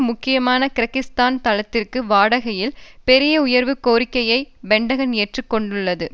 முக்கியமான கிர்கிஸ்தான் தளத்திற்கு வாடகையில் பெரிய உயர்வு கோரிக்கையை பென்டகன் எதிர்கொண்டுள்ளது